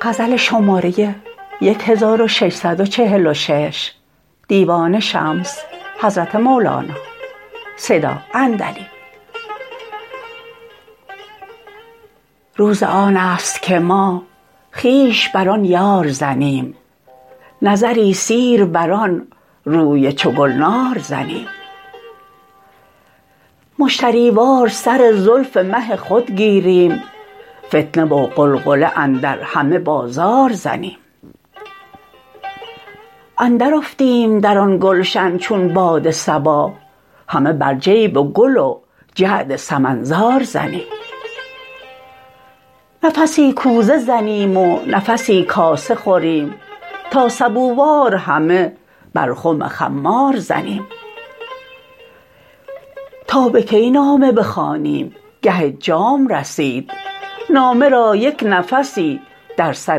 روز آن است که ما خویش بر آن یار زنیم نظری سیر بر آن روی چو گلنار زنیم مشتری وار سر زلف مه خود گیریم فتنه و غلغله اندر همه بازار زنیم اندرافتیم در آن گلشن چون باد صبا همه بر جیب گل و جعد سمن زار زنیم نفسی کوزه زنیم و نفسی کاسه خوریم تا سبووار همه بر خم خمار زنیم تا به کی نامه بخوانیم گه جام رسید نامه را یک نفسی در سر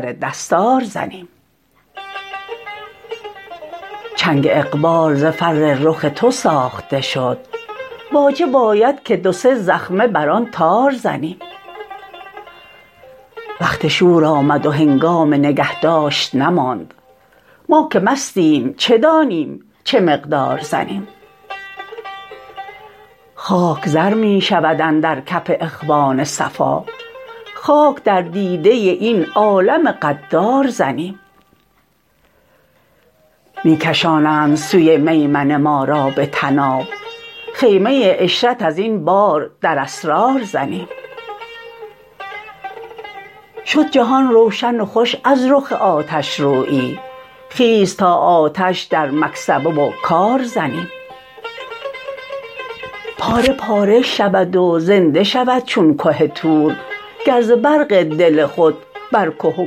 دستار زنیم چنگ اقبال ز فر رخ تو ساخته شد واجب آید که دو سه زخمه بر آن تار زنیم وقت شور آمد و هنگام نگه داشت نماند ما که مستیم چه دانیم چه مقدار زنیم خاک زر می شود اندر کف اخوان صفا خاک در دیده این عالم غدار زنیم می کشانند سوی میمنه ما را به طناب خیمه عشرت از این بار در اسرار زنیم شد جهان روشن و خوش از رخ آتشرویی خیز تا آتش در مکسبه و کار زنیم پاره پاره شود و زنده شود چون که طور گر ز برق دل خود بر که و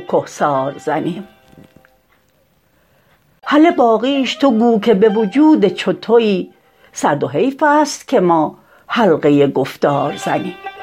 کهسار زنیم هله باقیش تو گو که به وجود چو توی سرد و حیف است که ما حلقه گفتار زنیم